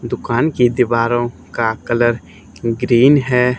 दुकान के दीवारों का कलर ग्रीन है।